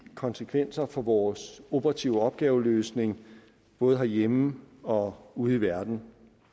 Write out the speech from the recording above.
konsekvenser for vores operative opgaveløsning både herhjemme og ude i verden